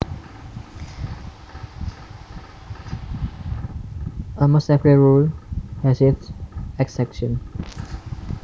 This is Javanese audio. Almost every rule has its exceptions